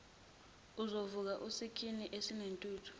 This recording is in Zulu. ezovuka usikhuni esinentuthu